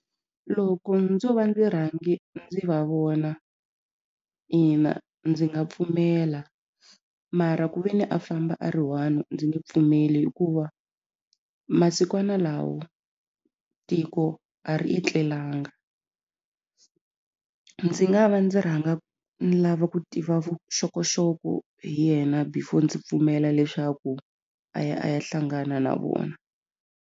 Loko ndzo va ndzi rhange ndzi va vona ina ndzi nga pfumela mara ku ve ni a famba a ri one ndzi nge pfumeli hikuva masikwana lawa tiko a ri etlelanga ndzi nga va ndzi rhanga ni lava ku tiva vuxokoxoko hi yena before ndzi pfumela leswaku a ya a ya hlangana na vona.